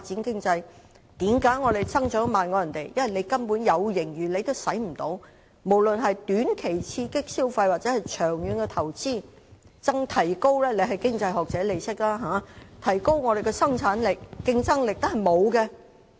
因為我們即使有盈餘也沒有運用，無論是用於短期刺激消費或是長遠投資——局長是經濟學者，應該也懂得這些——更沒有動用盈餘提高香港的生產力、競爭力。